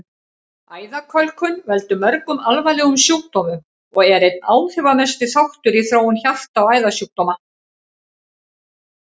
Æðakölkun veldur mörgum alvarlegum sjúkdómum og er einn áhrifamesti þáttur í þróun hjarta- og æðasjúkdóma.